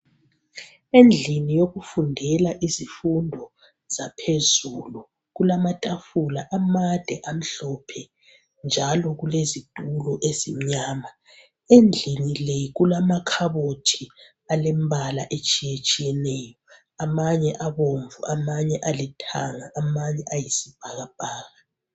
endlini yokufundela izifundo zaphezulu kulamatafula amade amhlophe njalo ulezitulo ezimnyama endlini le kulamakhabothi alembala etshiyetshiyeneyo amanye abomvu amanye alithanga amanye ayisibhakabhaka